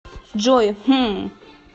джой хм